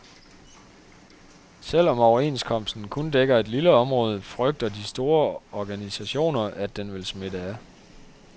Selv om overenskomsten kun dækker et lille område, frygter de store organisationer, at den vil smitte af.